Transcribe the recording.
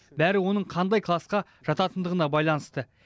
бәрі оның қандай классқа жататындығына байланысты